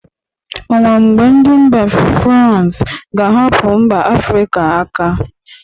O nwe mgbe ndị mba frans ga-ahapụ mba afịrịka aka?